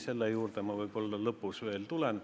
Selle juurde ma võib-olla lõpus veel tulen.